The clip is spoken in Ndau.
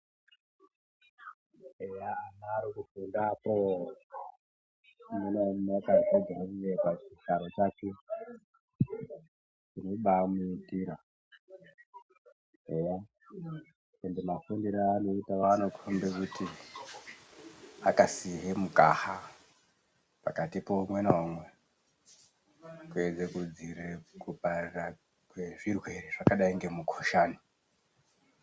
Eya vanodaro pakufunda kwo kuti umwe ngaumwe akazvigarira pachigaro chake chinobamuitira eyaa. Ende mafundiro aanoita anokhomba kuti akasiye mukaha pakati peumwe naumwe, kuedza kudziirire kuparira kwezvirwere zvakadai ngemukhuhlani.